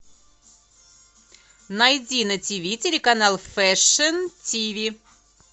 найди на тв телеканал фэшн тв